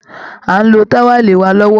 À ń lo táwẹ́lì wà lọ́wọ́